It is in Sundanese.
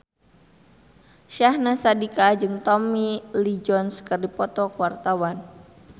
Syahnaz Sadiqah jeung Tommy Lee Jones keur dipoto ku wartawan